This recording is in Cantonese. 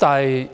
但是，當